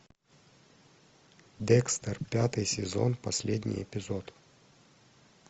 декстер пятый сезон последний эпизод